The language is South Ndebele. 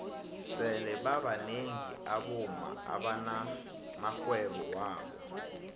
sele babnengi abomma abana maxhwebo wabo